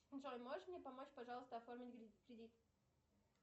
джой можешь мне помочь пожалуйста оформить кредит